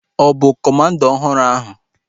Ọ bụ kọmanda ọhụrụ ahu?